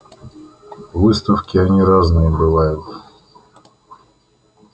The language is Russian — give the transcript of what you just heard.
выставки они разные бывают